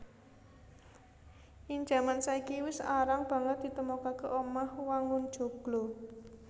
Ing jaman saiki wis arang banget ditemokaké omah wangun joglo